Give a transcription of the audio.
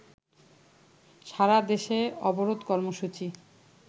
সারাদেশে অবরোধ কর্মসূচি